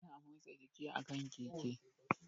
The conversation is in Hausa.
Ana motsa jiki a kan Keke